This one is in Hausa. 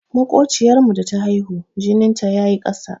Maƙociyar mu da ta haihu, jinin ta yayi ƙasa.